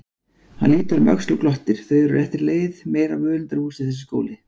Hann lítur um öxl og glottir, þau eru á réttri leið, meira völundarhúsið þessi skóli!